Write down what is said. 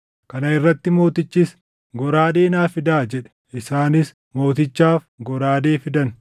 Kana irratti mootichis, “Goraadee naa fidaa” jedhe. Isaanis mootichaaf goraadee fidan.